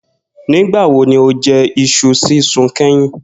Nígbà wo ni o je̩ is̩u sísun ké̩yìn?